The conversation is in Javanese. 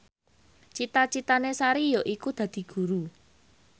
cita citane Sari yaiku dadi guru